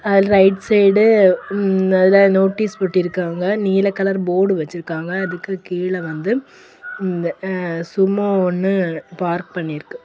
அதுல right side அதுல notice ஒட்டி இருக்காங்க. நீல கலர் போடு வெச்சிருக்காங்க. அதுக்கு கீழ வந்து சும்மா ஒன்னு பார்க் பண்ணி இருக்கு.